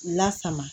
Lasama